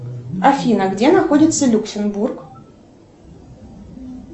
афина где находится люксембург